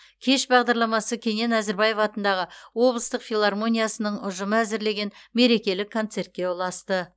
кеш бағдарламасы кенен әзірбаев атындағы облыстық филармониясының ұжымы әзірлеген мерекелік концертке ұласты